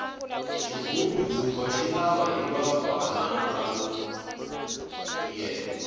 xigubu ndzumba xi lava hiva bvana vo tiyela